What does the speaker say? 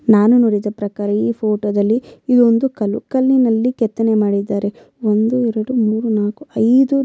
ನಾನು ನೋಡಿದ ಪ್ರಕಾರ ಈ ಫೊಟೊ ದಲ್ಲಿ ಇದು ಒಂದು ಕಲ್ಲು ಕಲ್ಲಿನಲ್ಲಿ ಕೆತ್ತನೆ ಮಾಡಿದ್ದಾರೆ ಒಂದು ಎರಡು ಮೂರೂ ನಾಕು ಐದು --